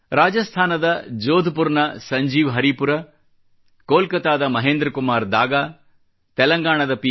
ರಾಜಸ್ಥಾನದ ಜೋಧ್ಪುರ್ ನ ಸಂಜೀವ್ ಹರೀಪುರ ಕೊಲ್ಕತಾದ ಮಹೇಂದ್ರ ಕುಮಾರ್ ದಾಗಾ ತೆಲಂಗಾಣದ ಪಿ